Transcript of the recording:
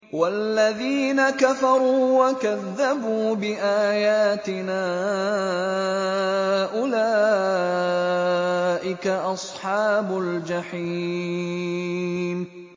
وَالَّذِينَ كَفَرُوا وَكَذَّبُوا بِآيَاتِنَا أُولَٰئِكَ أَصْحَابُ الْجَحِيمِ